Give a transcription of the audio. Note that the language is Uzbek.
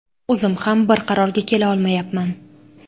O‘zim ham bir qarorga kela olmayapman.